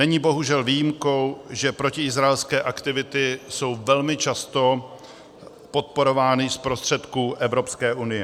Není bohužel výjimkou, že protiizraelské aktivity jsou velmi často podporovány z prostředků Evropské unie.